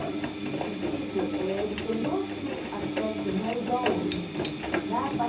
Olha, o cortiço, eh ele tem outro aspecto, não é igual hoje em dia. Lá pa